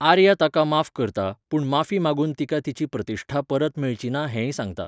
आर्या ताका माफ करता, पूण माफी मागून तिका तिची प्रतिश्ठा परत मेळची ना हेंय सांगता.